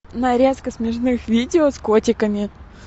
нарезка смешных видео с котиками